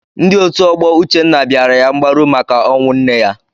Ndị otu ọgbọ Uchenna bịara ya mgbaru maka ọnwụ nne ya.